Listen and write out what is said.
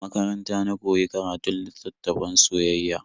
A makaranta na koyi karatun littattafan soyayya.